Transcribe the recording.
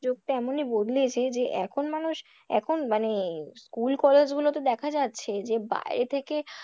যুগটা এমনই বদলেছে যে এখন মানুষ এখন মানে school college গুলোতে দেখা যাচ্ছে যে বাইরে থেকে,